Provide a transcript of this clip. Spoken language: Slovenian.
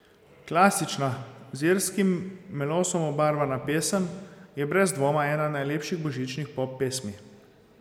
Klasična, z irskim melosom obarvana pesem, je brez dvoma ena najlepših božičnih pop pesmi.